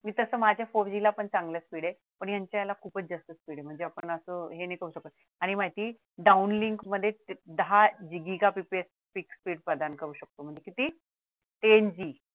मी तस माझ्या four G ला पण चांगला speed आहे पण यांच्या ला खूपच जास्त speed आहे म्हणजे आपण असं हे नाही करू शकत आणि माझी downlink मध्ये दहा जिजीका का prepare fix speed प्रधान करू शकतो म्हणजे किती ten G